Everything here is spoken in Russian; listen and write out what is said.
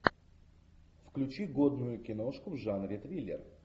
включи годную киношку в жанре триллер